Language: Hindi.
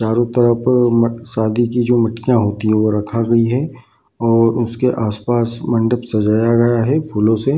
चारो तरफ मट शादी की जो मटकियां होती है वो रखा गया है और उसके आस-पास मंडप सजाया गया है फूलो से।